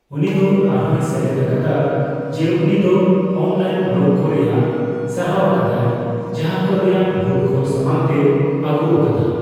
ᱩᱱᱤ ᱫᱚ ᱟᱨᱦᱚᱸᱭ ᱥᱮᱞᱮᱫ ᱟᱠᱟᱫᱟ ᱡᱮ ᱩᱱᱤ ᱫᱚ ᱚᱱᱞᱟᱭᱤᱱ ᱵᱞᱚᱜᱽ ᱠᱚ ᱨᱮᱭᱟᱜ ᱥᱟᱨᱦᱟᱣ ᱟᱠᱟᱫᱟᱭ ᱡᱟᱦᱟᱸ ᱠᱚ ᱨᱮᱭᱟᱜ ᱵᱷᱩᱞ ᱠᱚ ᱥᱟᱢᱟᱝ ᱛᱮᱭ ᱟᱹᱜᱩ ᱟᱠᱟᱫᱟ ᱾